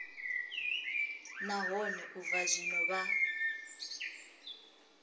nahone u bva zwino vha